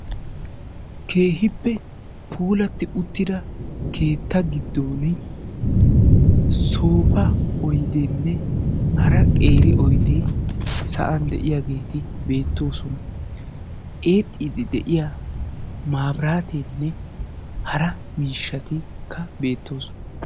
keehippe puulaati uuttida keetta gigdon soofa oydeenne haara qeeri oydee saa'an de'iyaageti beetoosona. eexiidi de'iyaa mabiraateenne haara miishaatikka betoosona.